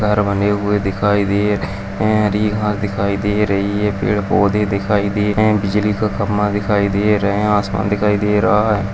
घर बने हुए दिखाई दे रहे है हरी घास दिखाई दे रही है पेड़ पौधे दिखाई दे रहे हैं बिजली का खम्बा दिखाई दे रहे हैं आसमान दिखाई दे रहा है।